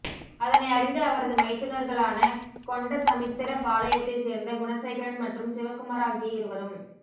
அதனை அறிந்த அவரது மைத்துனர்களான கொண்டசமுத்திரப்பாளையத்தை சேர்ந்த குணசேகரன் மற்றும் சிவக்குமார் ஆகிய இருவரும்